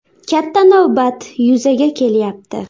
Katta navbat yuzaga kelyapti.